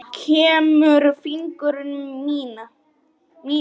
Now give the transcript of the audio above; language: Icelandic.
Kremur fingur mína.